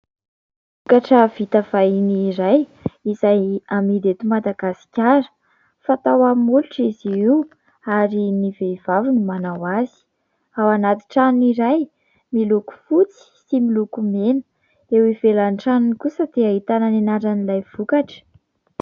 Vokatra vita vahiny iray izay amidy eto Madagasikara. Fanao amin'ny molotra izy io ary ny vehivavy no manao azy. Ao anaty tranony iray miloko fotsy sy miloko mena. Eo ivelan'ny tranony kosa dia ahitana ny anaran'ilay vokatra.